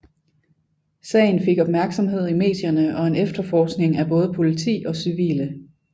Sagen fik opmærksomhed i medierne og en efterforskning af både politi og civile